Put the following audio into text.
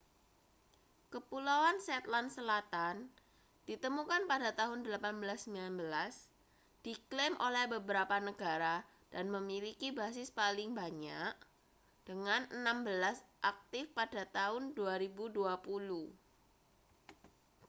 kepulauan shetland selatan ditemukan pada tahun 1819 diklaim oleh beberapa negara dan memiliki basis paling banyak dengan enam belas aktif pada tahun 2020